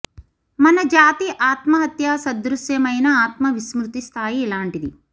మన జాతి ఆత్మ హత్యా సదృశ్యమైన ఆత్మ విస్మృతి స్థాయి ఇలాంటిది